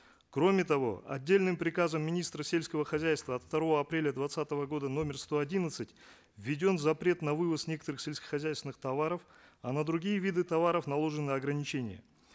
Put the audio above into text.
кроме того отдельным приказом министра сельского хозяйства от второго апреля двадцатого года номер сто одиннадцать введен запрет на вывоз некоторых сельскохозяйственных товаров а на другие виды товаров наложены ограничения